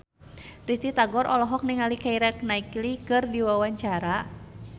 Risty Tagor olohok ningali Keira Knightley keur diwawancara